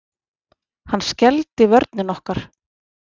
Hann skelfdi vörnina okkar.